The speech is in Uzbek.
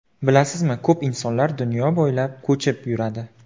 Bilasizmi, ko‘p insonlar dunyo bo‘ylab ko‘chib yuradi.